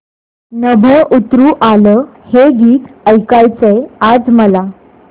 नभं उतरू आलं हे गीत ऐकायचंय आज मला